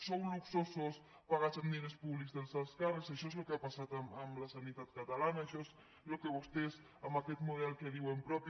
sous luxosos pagats amb diners públics dels alts càrrecs això és el que ha passat amb la sanitat catalana això és el que vostès amb aquest model que diuen propi